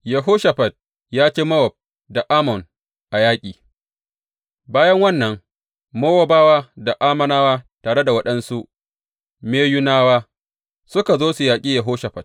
Yehoshafat ya ci Mowab da Ammon a yaƙi Bayan wannan, Mowabawa da Ammonawa tare da waɗansu Meyunawa suka zo su yaƙi Yehoshafat.